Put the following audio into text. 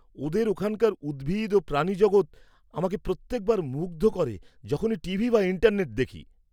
-ওদের ওখানকার উদ্ভিদ ও প্রাণী জগত আমাকে প্রত্যেক বার মুগ্ধ করে যখনই টিভি বা ইন্টারনেটে দেখি।